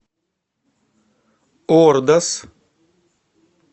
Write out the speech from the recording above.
ордос